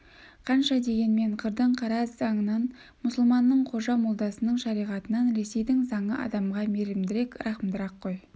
қанша дегенмен қырдың қара заңынан мұсылманның қожа молдасының шариғатынан ресейдің заңы адамға мейірімдірек рақымдырақ қой